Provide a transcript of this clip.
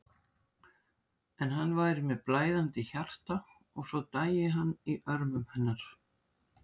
En hann væri með blæðandi hjarta og svo dæi hann í örmum hennar.